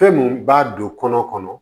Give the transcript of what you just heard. Fɛn mun b'a don kɔnɔ